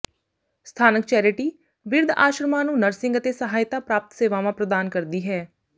ਸਥਾਨਕ ਚੈਰਿਟੀ ਬਿਰਧ ਆਸ਼ਰਮਾਂ ਨੂੰ ਨਰਸਿੰਗ ਅਤੇ ਸਹਾਇਤਾ ਪ੍ਰਾਪਤ ਸੇਵਾਵਾਂ ਪ੍ਰਦਾਨ ਕਰਦੀ ਹੈ